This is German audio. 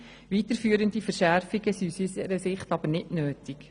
Weiterführende Verschärfungen sind aus unserer Sicht nicht nötig.